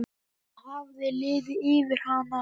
Það hafði liðið yfir hana.